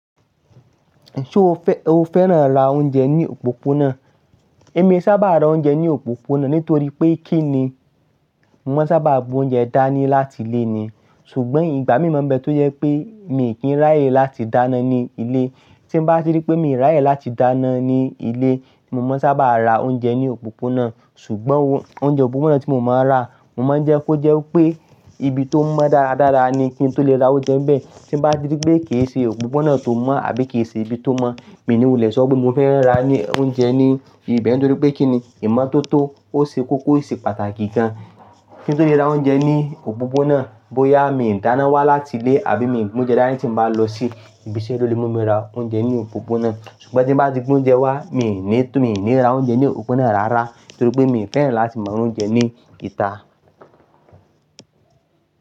Ṣé o fẹ́, o fẹ́ràn ra oúnjẹ ní òpópónà? Èmi sábà ra oúnjẹ ní òpópónà nítorí pé kí ni? Mo sábà bu oúnjẹ dání láti ilé ni. Ṣùgbọ́n ìgbà mí mọ́ bẹ tó jẹ́ pé mi kì í ráyè láti dáná ní ilé. Tí mo bá ti rí pé mi ò ráyè láti dáná ní ilé, mo má sábà ra oúnjẹ ní òpópónà. Ṣùgbọ́n oúnjẹ òpópónà tí mo máa ra, mo máa ń jẹ́ kó jẹ́ pé ibi tó mọ́ dáradára ni kí n tó lè ra oúnjẹ bẹ́ẹ̀. Tí mo bá rí pé kì í ṣe òpópónà tó mọ́ àbí kì í ṣe ibi tó mọ́, mi ò ní wùlẹ̀ sọ́ pé mo fẹ́ ra ní oúnjẹ ní ibẹ̀ nítorí pé kí ni? Ìmọ́tótó ó ṣe kókó o ṣe pàtàkì gan. Kí n tó lè ra oúnjẹ ní òpópónà bóyá mi ń dáná wá láti ilé àbí mi oo gbe ounjẹ dání tí mo bá lọ sí ibiṣẹ́ ló lé mi ra oúnjẹ ní òpópónà. Ṣùgbọ́n tí bá ti gbé oúnjẹ wá, mi ò ní, mi ò ní ra oúnjẹ ní òpópónà rárá torí pé mi ò fẹ́ràn láti máa ń jẹun ní ìta.